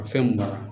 Fɛn mun mara